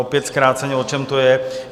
Opět zkráceně, o čem to je.